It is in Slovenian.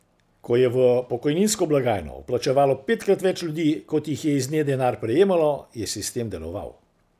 Ko je v pokojninsko blagajno vplačevalo petkrat več ljudi, kot jih je iz nje denar prejemalo, je sistem deloval.